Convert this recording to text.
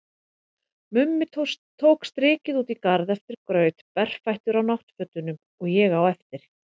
Mummi tók strikið út í garð eftir graut, berfættur á náttfötunum, og ég á eftir.